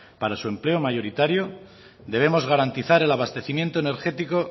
para su empleo mayoritario debemos garantizar el abastecimiento energético